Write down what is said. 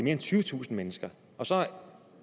end tyvetusind mennesker og så